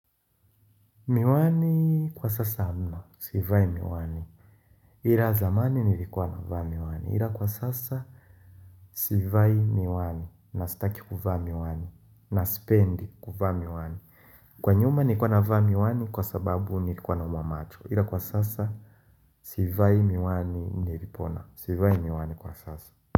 Miwani kwa sasa hamna, sivai miwani Ila zamani nilikuwa na vaa miwani, ila kwa sasa sivai miwani, na sitaki kuvaa miwani, na sipendi kuvaa miwani Kwa nyuma nilikuwa na vaa miwani kwa sababu nilikuwa na umwamacho Ila kwa sasa, sivai miwani nilipona, sivai miwani kwa sasa.